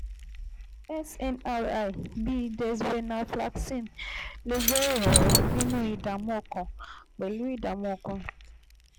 cs] SNRI bíi desvelnaflaxcine lè jẹ́ ìrànwọ́ nínú ìdààmú ọkàn pẹ̀lú ìdààmú ọkàn